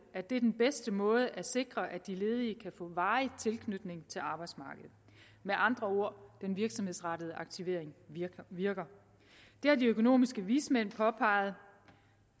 at det er den bedste måde at sikre på at de ledige kan få en varig tilknytning til arbejdsmarkedet med andre ord den virksomhedsrettede aktivering virker det har de økonomiske vismænd påpeget og